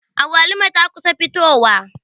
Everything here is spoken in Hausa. Agwaluma ta kusa fitowa.